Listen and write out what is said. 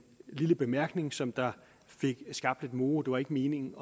lille bemærkning som fik skabt lidt moro det var ikke meningen